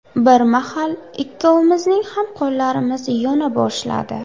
Bir mahal ikkalovimizning ham qo‘llarimiz yona boshladi.